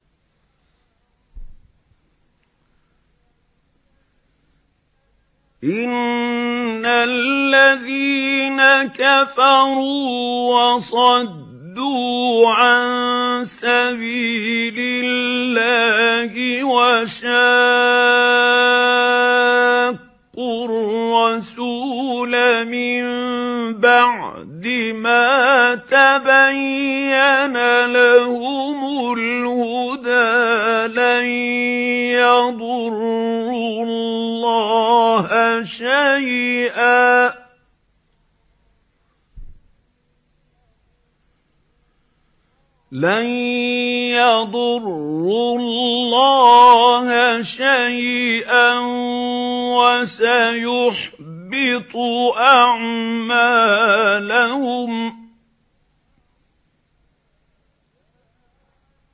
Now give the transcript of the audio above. إِنَّ الَّذِينَ كَفَرُوا وَصَدُّوا عَن سَبِيلِ اللَّهِ وَشَاقُّوا الرَّسُولَ مِن بَعْدِ مَا تَبَيَّنَ لَهُمُ الْهُدَىٰ لَن يَضُرُّوا اللَّهَ شَيْئًا وَسَيُحْبِطُ أَعْمَالَهُمْ